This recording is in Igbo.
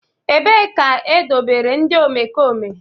Ebee ka edobere ndị omekome?